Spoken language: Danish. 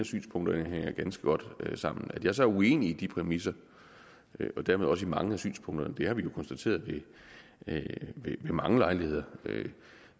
synspunkterne hænger ganske godt sammen at jeg så er uenig i de præmisser og dermed også i mange af synspunkterne har vi jo konstateret ved mange lejligheder